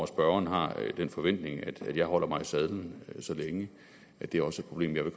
spørgeren har den forventning at jeg holder mig i sadlen så længe at det også